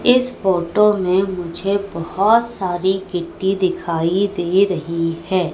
इस फोटो में मुझे बहुत सारी गिट्टी दिखाई दे रही है।